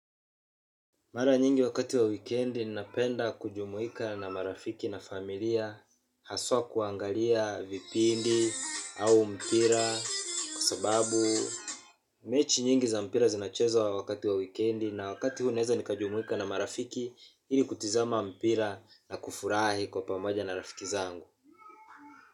Mara nyingi wakati wa weekend napenda kujumuika na marafiki na familia haswa kuangalia vipindi au mpira kwa sababu mechi nyingi za mpira zinacheza wa wakati wa weekend na wakati huu naweza nikajumuika na marafiki ili kutizama mpira na kufurahi kwa pamoja na rafiki zangu.